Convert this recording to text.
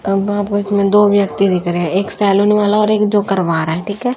अब आपस में दो व्यक्ति देख रहे एक सैलुन वाला और एक जो करवा रहा है ठीक है।